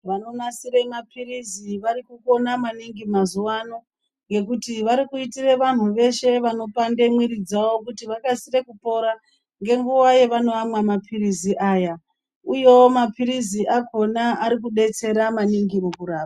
Vanonasire maphirizi varikukona maningi mazuwano, ngekuti varikuitire vantu veshe vanopande mwiri dzawo kuti vakasire kupora, ngenguva yevanoamwa maphirizi aya, uyewo maphirizi akhona arikudetsera maningi mukurapa.